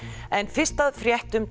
en fyrst að fréttum